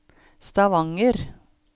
Stavanger